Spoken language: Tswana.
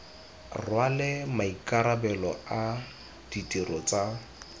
rwale maikarabelo a ditiro tsa